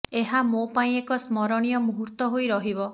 ଏହା ମୋ ପାଇଁ ଏକ ସ୍ମରଣୀୟ ମୁହୂର୍ତ୍ତ ହୋଇ ରହିବ